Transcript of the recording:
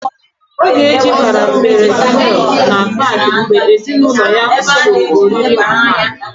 Ogechi bara feris wịl na pak mgbe ezinaulo ya pụrụ ọrịrị n'pak.